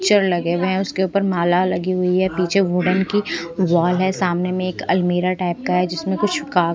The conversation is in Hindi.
चेयर लगे हुए उसके ऊपर माला लगी हुई है पीछे वुडन की वॉल है सामने में एक अलमीरा टाइप का है जिसमें कुछ का--